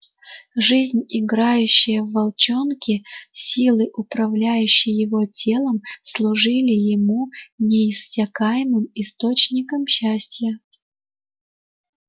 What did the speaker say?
жизнь играющая в волчонке силы управляющие его телом служили ему неиссякаемым источником счастья